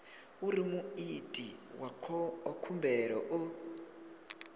uri muiti wa khumbelo o